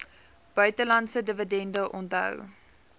buitelandse dividende onthou